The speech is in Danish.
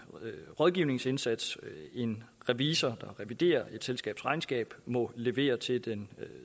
rådgivningsindsats en revisor der reviderer et selskabs regnskab må levere til den